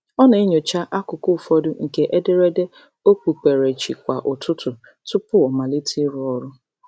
Ọ na-enyocha akụkụ ụfọdụ nke ederede okpukperechi kwa ụtụtụ tụpụ ọ amalite ịrụ ọrụ.